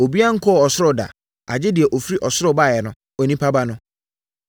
Obiara nkɔɔ ɔsoro da, agye deɛ ɔfiri ɔsoro baeɛ no—Onipa Ba no.